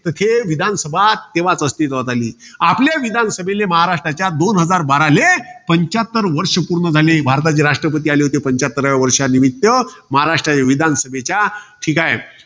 तर हे, विधानसभा तेव्हाच अस्तित्वात आली. आपल्या विधानसभेले, महाराष्ट्राच्या दोन हजार बाराले, पंच्याहत्तर वर्ष पूर्ण झाले. भारताचे राष्ट्रपती आले होते, पंच्याहत्तराव्या वर्षा निमित्त. महाराष्ट्र विधानसभेच्या. ठीकाये